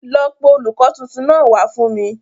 Lọ pé olùkó tuntun náà wá fún mi.